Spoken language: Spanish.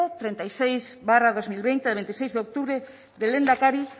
treinta y seis barra dos mil veinte de octubre del lehendakari